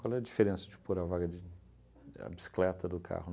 Qual é a diferença de pôr a vaga de... a bicicleta do carro?